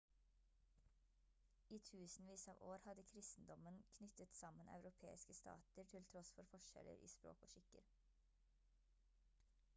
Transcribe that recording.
i tusenvis av år hadde kristendommen knyttet sammen europeiske stater til tross for forskjeller i språk og skikker